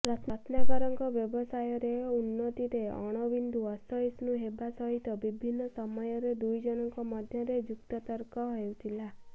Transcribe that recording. ରତ୍ନାକରଙ୍କ ବ୍ୟବସାୟର ଉନ୍ନତିରେ ଅଣବିନ୍ଦୁ ଅସହିଷ୍ଣୁ ହେବା ସହିତ ବିଭିନ୍ନ ମମୟରେ ଦୁଇଜଣଙ୍କ ମଧ୍ୟରେ ଯୁକ୍ତତର୍କ ହେଉଥିଲା